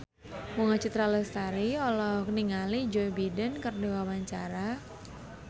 Bunga Citra Lestari olohok ningali Joe Biden keur diwawancara